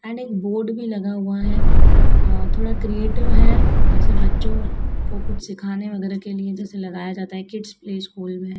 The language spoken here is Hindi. एंड एक बोर्ड भी लगा हुआ है अ थोड़ा क्रिएटिव है जैसे बच्चों को कुछ सीखने वगैरह के लिए जैसे लगाया जाता है किड्स प्ले स्कूल में।